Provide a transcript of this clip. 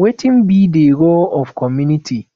wetin be di role of community